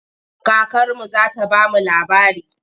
Kakarmu za ta ba mu labari.